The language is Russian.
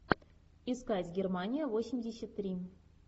искать германия восемьдесят три